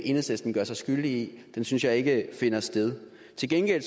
enhedslisten gør sig skyldig i synes jeg ikke finder sted til gengæld